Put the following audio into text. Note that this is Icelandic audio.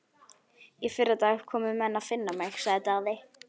Í fyrradag komu menn að finna mig, sagði Daði.